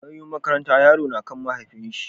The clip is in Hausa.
Nauyin makaranta yaro nakan mahaifi shi